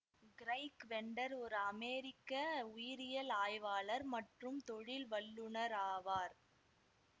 Craig Venter ஒரு அமேரிக்க உயிரியல் ஆய்வாளர் மற்றும் தொழில் வல்லுநராவார்